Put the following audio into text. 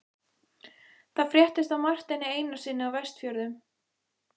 Það fréttist af Marteini Einarssyni á Vestfjörðum.